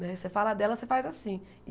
Né você fala dela, você faz assim.